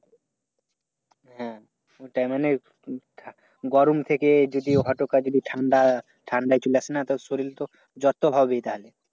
হ্যাঁ ওইটাই মানে গরম থেকে যদি হঠাৎ যদি ঠান্ডা। ঠান্ডাই চলে আসে না? তা শরীর তো জ্বর তো হবেই তাদের।